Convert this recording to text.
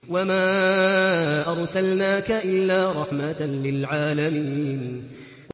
وَمَا أَرْسَلْنَاكَ إِلَّا رَحْمَةً لِّلْعَالَمِينَ